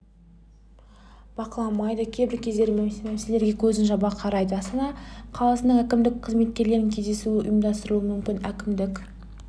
бақыламайды кейбір кездері мәселерге көзін жаба қарайды астана қаласының әкімдік қызметкерлерімен кездесуі ұйымдастырылуы мүмкін әкімдік